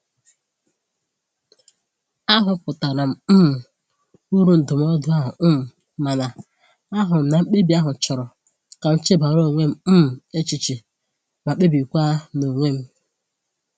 A hụpụtara um m uru ndụmọdụ ahụ, um mana ahụrụ m na mkpebi ahụ chọrọ ka m chebara onwe um m echiche ma kpebikwa n'onwe m..